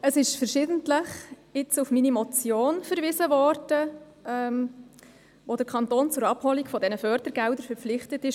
Es ist verschiedentlich auf meine Motion hingewiesen worden, mit welcher der Kanton zur Abholung der Fördergelder verpflichtet worden ist.